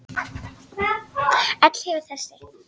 Öll hefur þessi